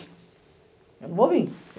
Eu não vou vim.